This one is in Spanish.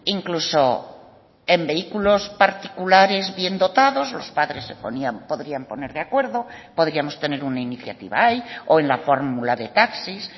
incluso en vehículos particulares bien dotados los padres se podrían poner de acuerdo podríamos tener una iniciativa ahí o en la fórmula de taxis